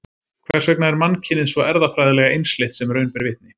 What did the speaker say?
Hvers vegna er mannkynið svo erfðafræðilega einsleitt sem raun ber vitni?